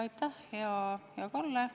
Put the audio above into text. Aitäh, hea Kalle!